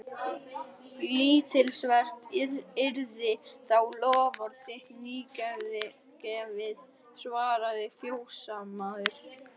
Lítilsvert yrði þá loforð þitt nýgefið, svaraði fjósamaður.